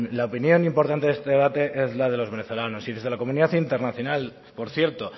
la opinión importante de este debate es la de los venezolanos y desde la comunidad internacional por cierto